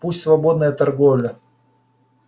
пусть свободная торговля